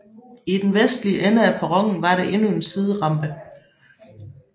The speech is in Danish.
I den vestlige ende af perronen var der endnu en siderampe